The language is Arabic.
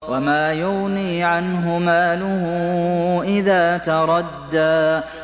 وَمَا يُغْنِي عَنْهُ مَالُهُ إِذَا تَرَدَّىٰ